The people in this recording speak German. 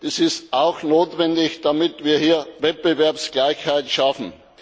Das ist auch notwendig, damit wir Wettbewerbsgleichheit schaffen.